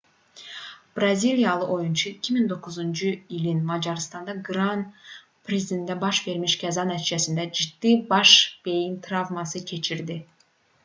braziliyalı oyunçu 2009-cu ilin macarıstan qran-prisində baş vermiş qəza nəticəsində ciddi baş beyin travması keçirdi